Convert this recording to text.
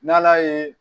N'ala ye